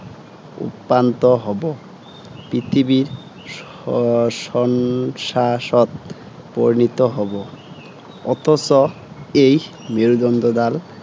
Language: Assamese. উপান্ত হ’ব। পৃথিৱী, শ্ম শন শাচত পৰিণিত হ’ব। অথচ এই মেৰুদণ্ডডাল